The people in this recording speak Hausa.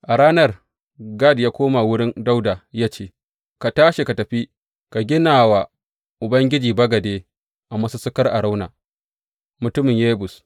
A ranar, Gad ya koma wurin Dawuda ya ce, Ka tashi, ka tafi ka gina wa Ubangiji bagade a masussukar Arauna, mutumin Yebus.